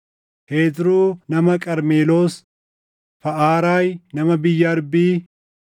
Hezroo nama Qarmeloos, Faʼaraay nama biyya Arbii,